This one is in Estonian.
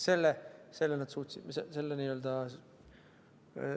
See suudeti säilitada.